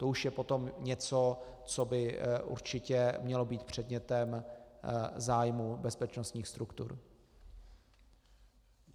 To už je potom něco, co by určitě mělo být předmětem zájmu bezpečnostních struktur.